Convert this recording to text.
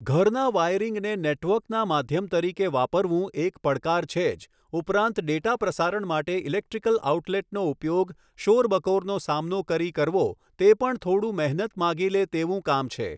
ઘરના વાયરીંગને નેટવર્કના માધ્યમ તરીકે વાપરવું એક પડકાર છે જ ઉપરાંત ડેટા પ્રસારણ માટે ઈલેક્ટ્રીકલ ઓઉટલેટનો ઉપયોગ શોરબકોરનો સામનો કરી કરવો તે પણ થોડું મહેનત માગી લે તેવું કામ છે.